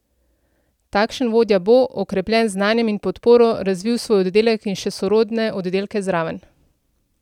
Takšen vodja bo, okrepljen z znanjem in podporo, razvil svoj oddelek in še sorodne oddelke zraven.